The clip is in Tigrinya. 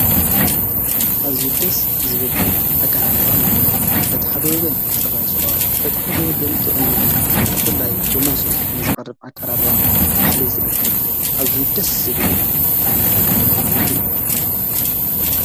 ኣዙይ ደስ ዝብል ኣቃራረባ ምግቢ በታ ሓደወገን ጽራይስዋ በታ ኃደወገን ጥቕም ምግቢ ብላይ ብሞሶብ ነዝቕርብ ኣቃራርዋ ባሃለ ዝአቅብ ኣዙይ ደስ ዝብል ኣይነት ኣቃራረባ ምግቢ እዩ።